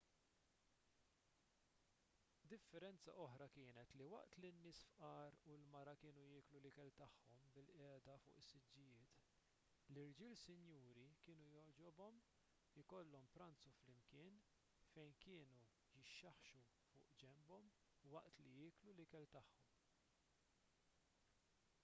differenza oħra kienet li waqt li n-nies fqar u l-mara kienu jieklu l-ikel tagħhom bilqiegħda fuq is-siġġijiet l-irġiel sinjuri kien jogħġobhom ikollhom pranzu flimkien fejn kienu jixxaħxħu fuq ġenbhom waqt li jieklu l-ikel tagħhom